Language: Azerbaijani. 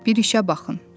Bir işə baxın.